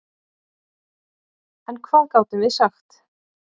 En hvað gátum við sagt?